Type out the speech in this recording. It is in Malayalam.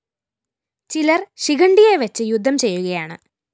ചിലര്‍ ശിഖണ്ഡിയെവച്ച് യുദ്ധം ചെയ്യുകയാണ്